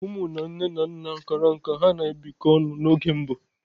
Ụmụ na nne na nna kara nká ha na-ebịkọta ọnụ n'oge mbụ.